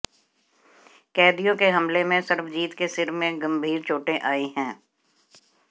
कैदियों के हमले में सरबजीत के सिर में गंभीर चोटें आईं हैं